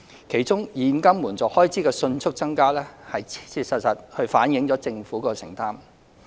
其中，現金援助開支的迅速增加切切實實地反映了政府的承擔。